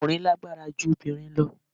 Ọkùnrin lágbára ju obìnrin lọ